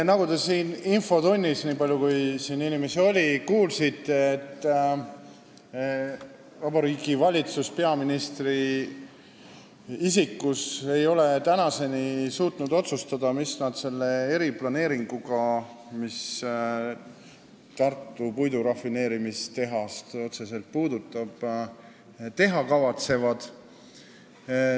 Nagu te infotunnis – nii palju, kui siin inimesi oli – kuulsite, ei ole Vabariigi Valitsus peaministri isikus tänaseni suutnud otsustada, mis nad selle eriplaneeringuga, mis puudutab otseselt Tartu puidurafineerimistehast, teha kavatsevad.